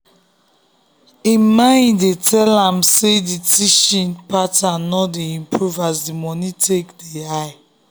im mind dey tell am say the teaching pattern no dey improve as the money take dey high